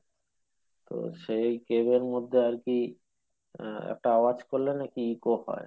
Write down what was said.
ওহ সেই game এর মধ্যে আর কি আহ একটা আওজ করলে নাকি eco হয়।